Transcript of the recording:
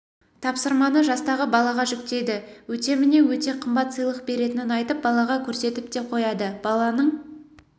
тапсырманы жастағы балаға жүктейді өтеміне өте қымбат сыйлық беретінін айтып балаға көрсетіп те қояды баланың